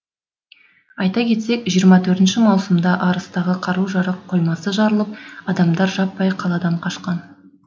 айта кетсек жиырма төртінші маусымда арыстағы қару қоймасы жарылып адамдар жаппай қаладан қашқан